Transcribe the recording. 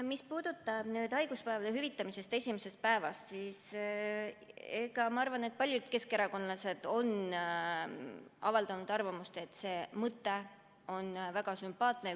Mis puudutab haiguspäevade hüvitamist esimesest päevast, siis paljud keskerakondlased on avaldanud arvamust, et see mõte on väga sümpaatne.